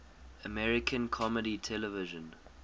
american comedy television